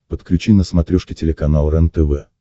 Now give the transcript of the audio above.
подключи на смотрешке телеканал рентв